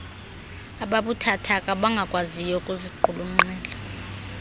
ababuthathaka abangakwaziyo ukuziqulunqela